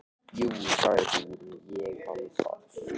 Jú, sagði hún, ég man það.